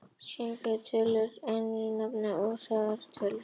Slíkar rauntölur kallast einu nafni óræðar tölur.